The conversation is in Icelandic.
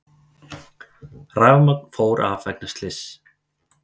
Rafmagn fór af vegna slyss